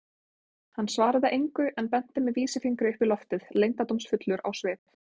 Hann svaraði engu en benti með vísifingri upp í loftið, leyndardómsfullur á svip.